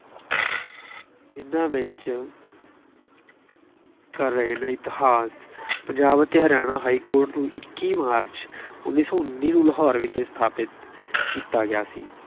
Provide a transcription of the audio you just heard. ਇਹਨਾ ਵਿੱਚ ਕਰ ਰਹੇ ਇਤਿਹਾਸ- ਪੰਜਾਬ ਅਤੇ ਹਰਿਆਣਾ ਹਾਈਕੋਰਟ ਨੂੰ ਇੱਕੀ ਮਾਰਚ ਉੱਨੀ ਸੌ ਉੱਨੀ ਨੂੰ ਲਾਹੌਰ ਵਿਖੇ ਸਥਾਪਿਤ ਕੀਤਾ ਗਿਆ ਸੀ।